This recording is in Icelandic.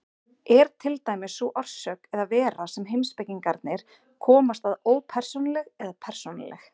Er til dæmis sú orsök eða vera sem heimspekingarnir komast að ópersónuleg eða persónuleg?